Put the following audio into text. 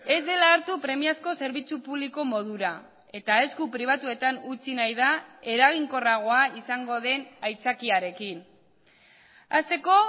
ez dela hartu premiazko zerbitzu publiko modura eta esku pribatuetan utzi nahi da eraginkorragoa izango den aitzakiarekin hasteko